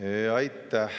Aitäh!